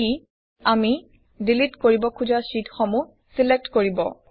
ই আমি ডিলিট কৰিব খুজা শ্বিটসমূহ ছিলেক্ট কৰিব